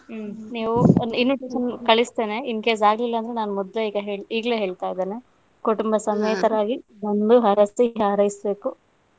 ನೀವು invitation ಕಳಿಸ್ತೇನೆ incase ಆಗಿಲ್ಲಾಂದ್ರೆ ನಾನು ಮೊದಲೇ ಈಗ್ಲೇ ಹೇಳ್ತಾ ಇದ್ದೇನೆ ಕುಟುಂಬಸಮೇತರಾಗಿ ಬಂದು ಹರಸಿ ಹಾರೈಸಬೇಕು.